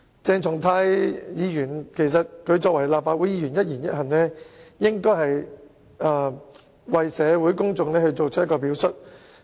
作為立法會議員，鄭松泰議員的一言一行，應該為社會公眾起着一個表率作用。